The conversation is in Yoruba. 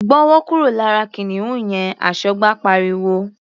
"Gbọ́wọ́ kúrò lára kìnìún yẹn!", Aṣọ́gbà pariwo.